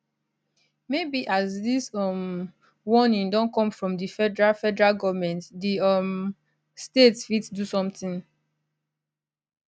maybe as dis um warning don come from di federal federal goment di um state fit do sometin